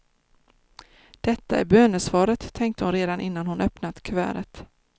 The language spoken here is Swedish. Detta är bönesvaret, tänkte hon redan innan hon öppnat kuvertet.